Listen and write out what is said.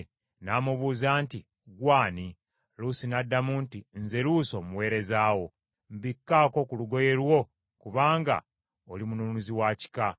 N’amubuuza nti, “Ggwe ani?” Luusi n’addamu nti, “Nze Luusi omuweereza wo. Mbikkaako ku lugoye lwo kubanga oli mununuzi wa kika .”